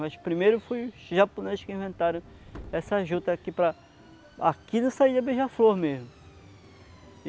Mas primeiro foi os japoneses que inventaram essa juta aqui para... Aqui no Saída Beija-Flor mesmo.